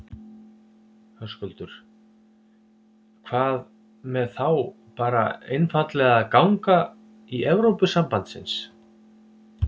Höskuldur: Hvað með þá bara einfaldlega að ganga í Evrópusambandsins?